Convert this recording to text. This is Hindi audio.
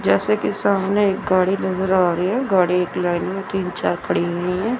जैसे कि सामने एक गाड़ी नजर आ री है गाड़ी एक लाइन में तीन चार खड़ी हुई है।